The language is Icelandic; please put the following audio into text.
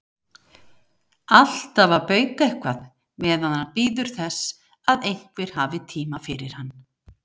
Alltaf að bauka eitthvað meðan hann bíður þess að einhver hafi tíma fyrir hann.